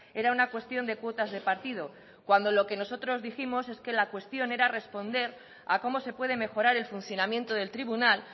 era una cuestión de cuotas de partido cuando lo que nosotros dijimos es que la cuestión era responder a cómo se puede mejorar el funcionamiento del tribunal